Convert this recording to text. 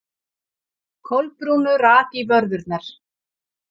Kolbrúnu rak í vörðurnar.